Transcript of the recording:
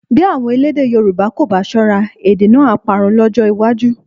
Bí àwọn elédè Yorùbá kò bá ṣọ́ra, èdè náà á parun lọ́jọ́ iwájú